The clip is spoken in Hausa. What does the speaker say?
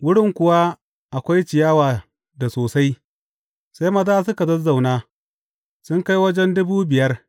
Wurin kuwa akwai ciyawa da sosai, sai maza suka zazzauna, sun kai wajen dubu biyar.